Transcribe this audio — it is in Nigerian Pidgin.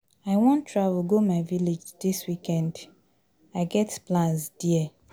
I wan travel go my village dis weekend. I get plans there.